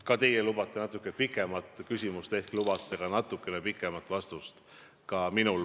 Kuna te lubasite endale natuke pikema küsimuse, ehk lubate mulle ka natukene pikema vastuse.